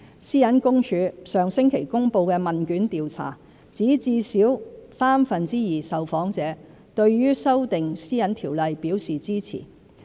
私隱公署上星期公布的問卷調查，指至少三分之二受訪者對修訂《個人資料條例》表示支持。